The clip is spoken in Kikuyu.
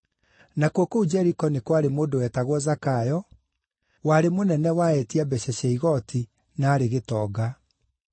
Nakuo kũu Jeriko nĩ kwarĩ mũndũ wetagwo Zakayo; warĩ mũnene wa etia mbeeca cia igooti na aarĩ gĩtonga.